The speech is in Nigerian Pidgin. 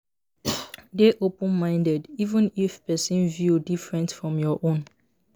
Dey open-minded, even if person view different from your own.